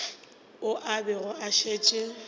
ao a bego a šetše